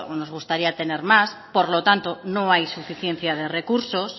nos gustaría tener más por lo tanto no hay suficiencia de recursos